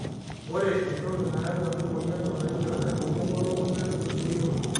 ore entoki nayau ena moyiana naing'ial enkomom we lukunya neton meyioloi.